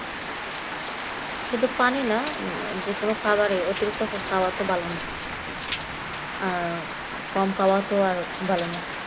সে তো পানি না যে কোন খাবারে অতিরিক্ত খাওয়া তো ভালো না আর কম খাওয়া তো আরও ভালো না